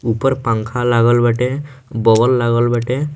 ऊपर पंखा लागल बाटे बॉल लागल बाटे।